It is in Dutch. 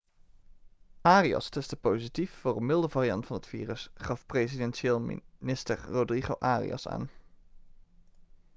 arias testte positief voor een milde variant van het virus gaf presidentieel minister rodrigo arias aan